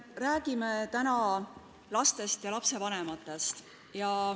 Räägime täna lastest ja lastevanematest.